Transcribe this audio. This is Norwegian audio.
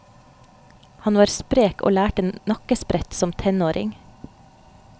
Han var sprek og lærte nakkesprett som tenåring.